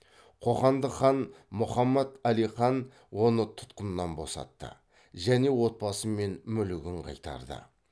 қоқандық хан мұхаммад алихан оны тұтқыннан босатты және отбасы мен мүлігін қайтарды